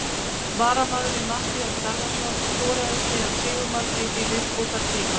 Varamaðurinn Matthías Garðarsson skoraði síðan sigurmarkið í viðbótartíma.